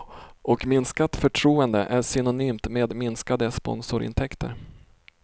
Och minskat förtroende är synonymt med minskade sponsorintäkter.